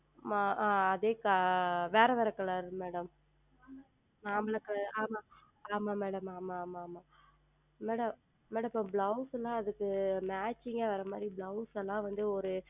அதே வேறு வேறு Color Madam மாம்பழம் Color ஆமாம் ஆமாம் Madam ஆமாம் ஆமாம் Madam இப்பொழுது Blouse ல அதற்கு Matching ஆ வருவது மாதிரி Blouse ல வந்து ஓர்